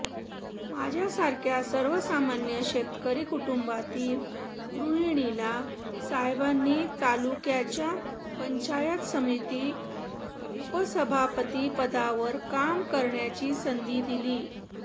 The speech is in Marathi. माझ्यासारख्या सर्वसामान्य शेतकरी कुटुंबातील गृहिणीला साहेबांनी तालुक्याच्या पंचायत समिती उपसभापती पदावर काम करण्याची संधी दिली